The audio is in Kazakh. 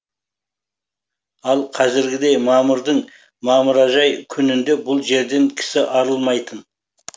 ал қазіргідей мамырдың мамыражай күнінде бұл жерден кісі арылмайтын